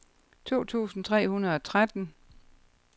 to tusind tre hundrede og tretten